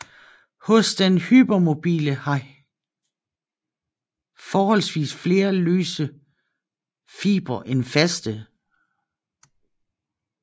Hos den hypermobile har forholdsvis flere løse fibre end faste